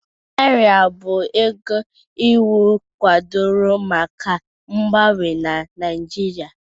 Naira bụ ego iwu kwadoro maka mgbanwe na Naijiria